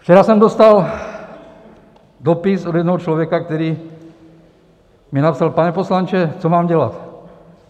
Včera jsem dostal dopis od jednoho člověka, který mi napsal: Pane poslanče, co mám dělat?